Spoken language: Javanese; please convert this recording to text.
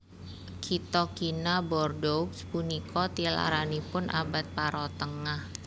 Kitha kina Bordeaux punika tilaranipun abad parotengah